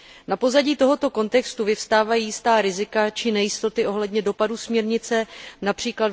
Na pozadí tohoto kontextu vyvstávají jistá rizika či nejistoty ohledně dopadu směrnice, např.